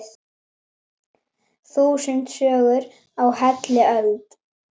Þúsund sögur á heilli öld.